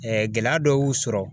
gɛlɛya dɔw sɔrɔ